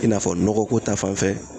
I n'a fɔ nɔgɔ ko ta fanfɛ